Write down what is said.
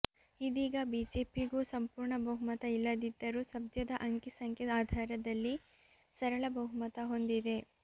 ಇದೀಗ ಬಿಜೆಪಿಗೂ ಸಂಪೂರ್ಣ ಬಹುಮತ ಇಲ್ಲದಿದ್ದರೂ ಸದ್ಯದ ಅಂಕಿ ಸಂಖ್ಯೆ ಆಧಾರದಲ್ಲಿ ಸರಳ ಬಹುಮತ ಹೊಂದಿದೆ